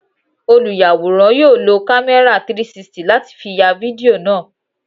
Olùyàwòrán yóò lo kámẹ́rà 360 láti fi ya fídíò náà.